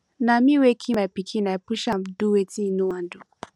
na me wey kill my pikin i push am do wetin he no wan do